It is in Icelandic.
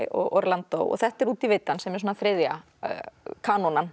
og Orlandó og þetta er út í vitann sem er svona þriðja